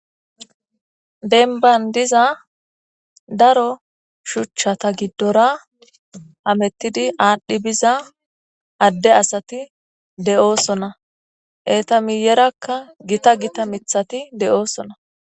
Denban diza daro shuchchata giddora hamettidi aadhdhi biza adde asati de'oosona eeta miyerakka gita gita mithati de'oosona